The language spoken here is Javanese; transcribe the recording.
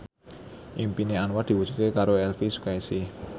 impine Anwar diwujudke karo Elvi Sukaesih